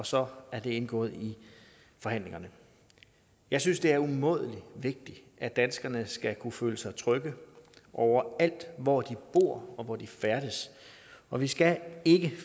så er indgået i forhandlingerne jeg synes det er umådelig vigtigt at danskerne skal kunne føle sig trygge over alt hvor de bor og færdes og vi skal ikke